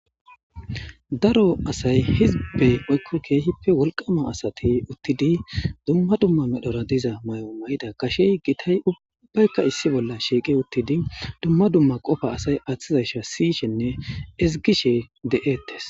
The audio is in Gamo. Daro asay hizbe woyko kehipe wolqama asati utidi duma duma medhora diza mayo mayiday gashe gitay ubayika issi bola shiqi utidi duma duma qofa asay atizaysa sishene ezgishe de'etes.